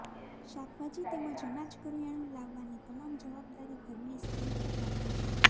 શાકભાજી તેમજ અનાજ કરિયાણુ લાવવા ની તમામ જવાબદારી ઘર ની સ્ત્રી પર રહેલ છે